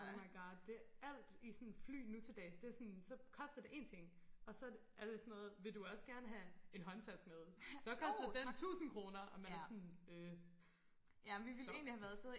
Oh my god det alt i sådan fly nu til dags det sådan så koster det én ting og så er det sådan noget vil du også gerne have en håndtaske med så koster den 1000 kroner og man er sådan øh stop